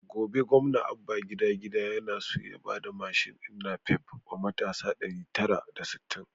Gobe gwamna abba gida-gida yana so ya bada mashin din napep wa matasa ɗari tara da sittin